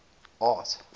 art